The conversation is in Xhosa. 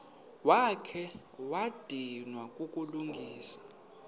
wakha wadinwa kukulungisa